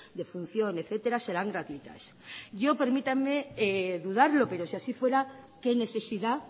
defunción etcétera serán gratuitas yo permítanme dudarlo pero si así fuera qué necesidad